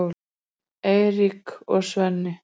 Eiríki og Sveini.